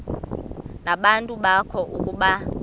nabantu bakowabo ukuba